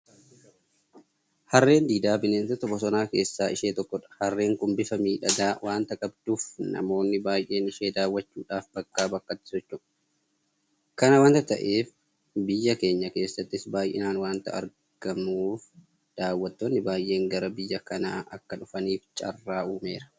Harreen Diidaa bineensota bosonaa keessaa ishee tokkodha. Harreen kun bifa miidhagaa waanta qabduuf namoonni baay'een ishee daawwachuudhaaf bakkaa bakkatti socho'u. Kana waanta ta'eef biyya keenya keessattis baay'inaan waanta argamtuuf daawwattoonni baay'een gara biyya kanaa akka dhufaniif carraa uumeera.